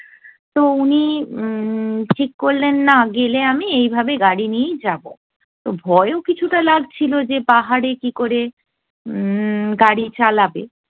তো উনি উম্ম ঠিক করলেন না গেলে আমি এইভাবে গাড়ি নিয়েই যাবো। তো ভয়ও কিছুটা লাগছিলো যে পাহাড়ে কী করে উম্ম গাড়ি চালাবে।